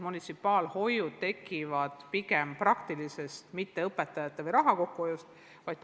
See tekib pigem praktilisest vajadusest, mitte soovist õpetajaid või raha kokku hoida.